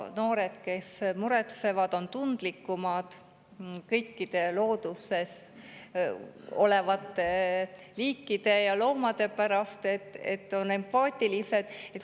Noored, kes muretsevad, on tundlikumad kõikide looduses olevate liikide ja loomade suhtes, on empaatilised.